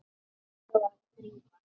Hvar var Drífa?